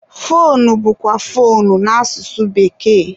foonu bụkwa foonu n'asụsụ bekee.